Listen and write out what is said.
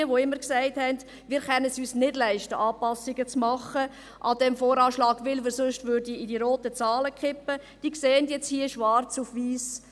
All jene, die immer gesagt haben, wir könnten es uns nicht leisten, Anpassungen zu machen an diesem VA, weil wir sonst in die roten Zahlen geraten würden, die sehen jetzt hier schwarz auf weiss: